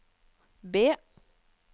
B